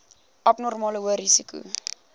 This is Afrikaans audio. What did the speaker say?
abnormale hoë risiko